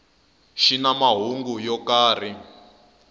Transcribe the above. xi na mahungu yo karhi